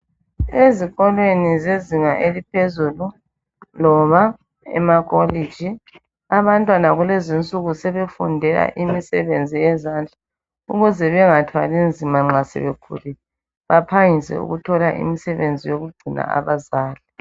Ezikolwe zezinga eliphezulu loba emakolitshi abantwana kulezi nsuku sebefundela imsebenzi wezandla ukuze bengathwali nzima sebekhulile baphangise ukuthola imisebenzi yokugcina abazali